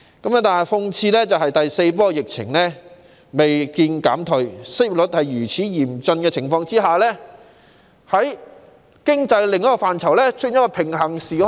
然而，諷刺的是，在第四波疫情未見減退，失業率高企的情況下，在經濟另一範疇內卻出現了平行時空。